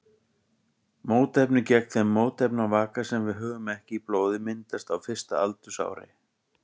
Mótefni gegn þeim mótefnavaka sem við höfum ekki í blóði myndast á fyrsta aldursári.